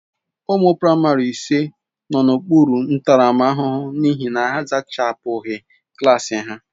Ụmụ praịmarị ise nọ n'okpuru ntaramahụhụ n'ihi na ha a zachapụghị klaasị ha.